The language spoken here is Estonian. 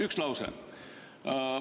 Üks lause!